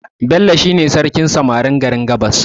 Bello shi ne sarkin samarin garin gabas